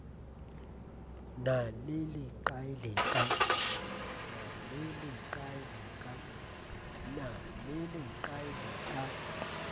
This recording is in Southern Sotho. na le leqai le ka